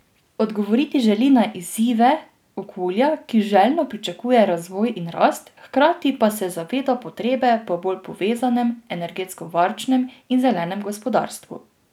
Odgovoriti želi na izzive okolja, ki željno pričakuje razvoj in rast, hkrati pa se zaveda potrebe po bolj povezanem, energetsko varčnem in zelenem gospodarstvu.